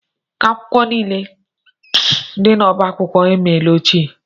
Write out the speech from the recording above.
Akwụkwọ niile dị n'ọbá akwụkwọ emela ochie.